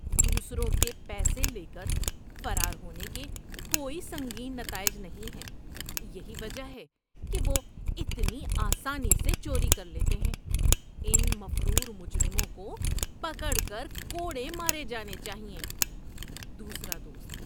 دوسروں کے پیسے لے کر فرار ہونے کے کوئی سنگین نتائج نہیں ہیں۔ یہی وجہ ہے کہ وہ اتنی آسانی سے چوری کر لیتے ہیں۔ ان مفرور مجرموں کو پکڑ کر کوڑے مارے جانے چاہئیں۔ (دوسرا دوست)